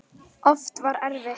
Oft var þetta erfitt.